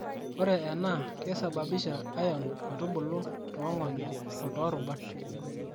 Ore enaa keisababisha iron metubulai toong'onyo o toorubat.